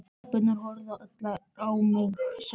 Stelpurnar horfðu á mig allar sem ein.